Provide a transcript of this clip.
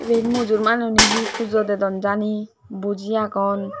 ibet mujurmaan hi pujo dedon jani buji agon.